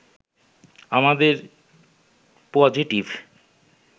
আমাদের পজিটিভ